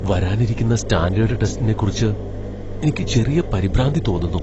വരാനിരിക്കുന്ന സ്റ്റാൻഡേഡ് ടെസ്റ്റിനെക്കുറിച്ച് എനിക്ക് ചെറിയ പരിഭ്രാന്തി തോന്നുന്നു.